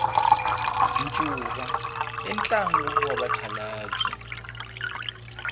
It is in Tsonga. ncuva i ntlangu wa vakhalabya